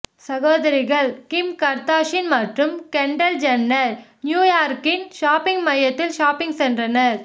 சகோதரிகள் Kim Kardashian மற்றும் Kendall Jenner நியூயார்க்கின் ஷாப்பிங் மையத்தில் ஷாப்பிங் சென்றனர்